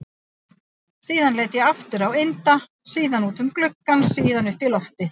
Síðan leit ég aftur á Inda, síðan út um gluggann, síðan upp í loftið.